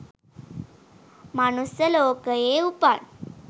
මනුස්ස ලෝකයේ උපන්,